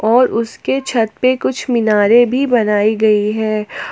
और उसके छत पे कुछ मीनारे भी बनाई गई है।